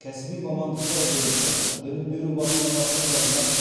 кәсіби мамандықтар бойынша білім беру басқармасына жазған